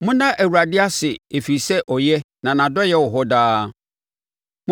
Monna Awurade ase ɛfiri sɛ ɔyɛ, na nʼadɔeɛ wɔ hɔ daa.